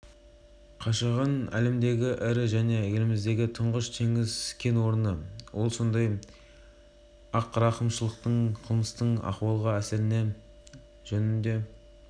тарап бүкіл ел талқылап жатады ал бұрын бәрі басқаша болатын ақпарат құралдары тек жағымды ақпарат